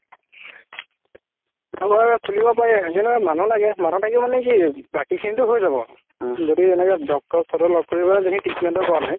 আমাৰ এটা খুলিব পাৰি কিন্তু মানুহ লাগে মানুহ থাকিলে মানে কি বাকি খিনিতো হয় যাব যদি এনেকা doctor লগ কৰি treatment ও কৰা যাই